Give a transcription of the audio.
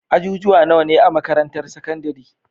ajujuwa nawa ne a makarantar sakandari?